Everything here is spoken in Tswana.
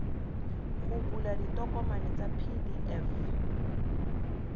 go bula ditokomane tsa pdf